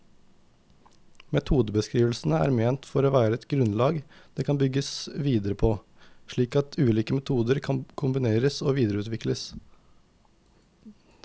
Metodebeskrivelsene er ment å være et grunnlag det kan bygges videre på, slik at ulike metoder kan kombineres og videreutvikles.